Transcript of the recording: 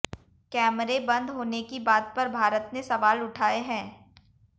कैमरे बंद होने की बात पर भारत ने सवाल उठाए हैं